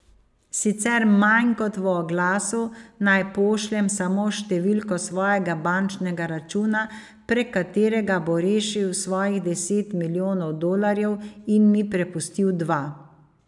Sicer manj kot v oglasu, naj pošljem samo številko svojega bančnega računa, prek katerega bo rešil svojih deset milijonov dolarjev in mi prepustil dva.